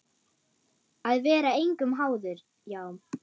Að vera engum háður, já.